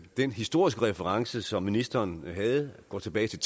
den historiske reference som ministeren havde går tilbage til